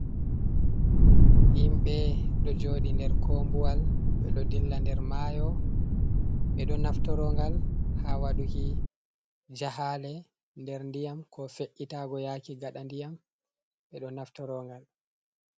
Himɓe ɗo joɗi nder kombuwal, ɓeɗo dilla nder mayo, ɓe ɗo naftorongal ha waduki jahale nder diyam, ko fe’itago yaki gaɗa ndiyam ɓeɗo naftorongal.